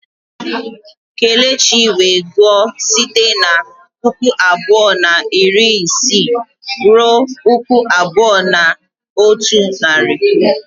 Kelechi wee gụọ site na puku abụọ na iri isii ruo puku abụọ na otu narị.